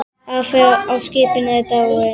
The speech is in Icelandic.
Afi á skipinu er dáinn.